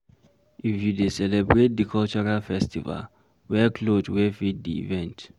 If you dey celebrate di cultural festival, wear cloth wey fit di event